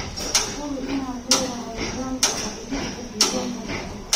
Hubi inaad leedahay nidaamka xafidista diiwaanka taranka.